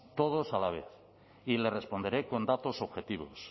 todos a la vez y le responderé con datos objetivos